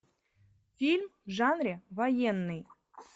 фильм в жанре военный